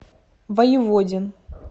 воеводин